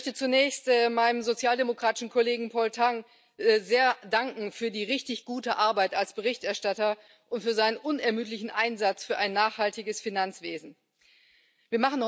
Ich möchte zunächst meinem sozialdemokratischen Kollegen Paul Tang für die richtig gute Arbeit als Berichterstatter und für seinen unermüdlichen Einsatz für ein nachhaltiges Finanzwesen sehr danken.